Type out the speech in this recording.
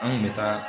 An kun bɛ taa